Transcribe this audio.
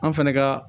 An fɛnɛ ka